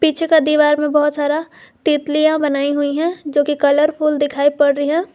पीछे का दीवार में बहुत सारा तितलियां बनाई हुई है जो की कलरफुल दिखाई पड़ रही है।